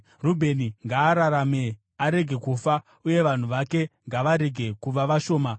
“Rubheni ngaararame arege kufa, uye vanhu vake ngavarege kuva vashoma.”